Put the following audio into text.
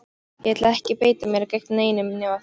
Ég ætla ekki að beita mér gegn neinum nema þér!